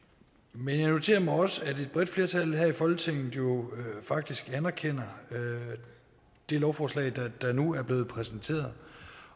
men jeg noterede mig også at et bredt flertal her i folketinget jo faktisk anerkender det lovforslag der nu er blevet præsenteret